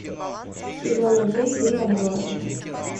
сезон один фильм отбросы